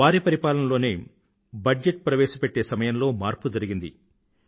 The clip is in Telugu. వారి పరిపాలనలోనే బజెట్ ప్రవేశపెట్టే సమయంలో మార్పు జరిగింది